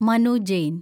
Manu Jain